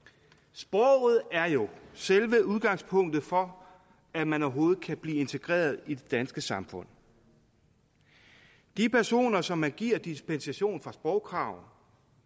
sproget er jo selve udgangspunktet for at man overhovedet kan blive integreret i det danske samfund de personer som man giver dispensation fra sprogkrav